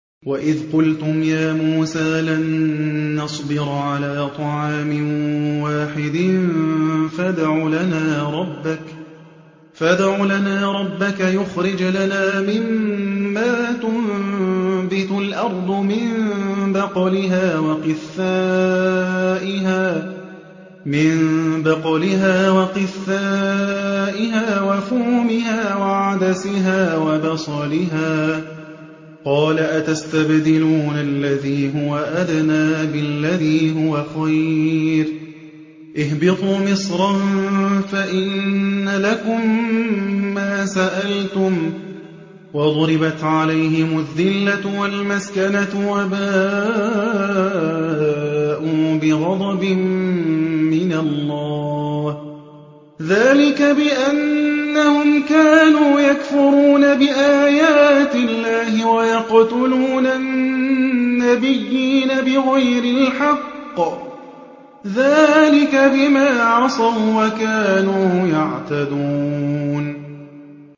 وَإِذْ قُلْتُمْ يَا مُوسَىٰ لَن نَّصْبِرَ عَلَىٰ طَعَامٍ وَاحِدٍ فَادْعُ لَنَا رَبَّكَ يُخْرِجْ لَنَا مِمَّا تُنبِتُ الْأَرْضُ مِن بَقْلِهَا وَقِثَّائِهَا وَفُومِهَا وَعَدَسِهَا وَبَصَلِهَا ۖ قَالَ أَتَسْتَبْدِلُونَ الَّذِي هُوَ أَدْنَىٰ بِالَّذِي هُوَ خَيْرٌ ۚ اهْبِطُوا مِصْرًا فَإِنَّ لَكُم مَّا سَأَلْتُمْ ۗ وَضُرِبَتْ عَلَيْهِمُ الذِّلَّةُ وَالْمَسْكَنَةُ وَبَاءُوا بِغَضَبٍ مِّنَ اللَّهِ ۗ ذَٰلِكَ بِأَنَّهُمْ كَانُوا يَكْفُرُونَ بِآيَاتِ اللَّهِ وَيَقْتُلُونَ النَّبِيِّينَ بِغَيْرِ الْحَقِّ ۗ ذَٰلِكَ بِمَا عَصَوا وَّكَانُوا يَعْتَدُونَ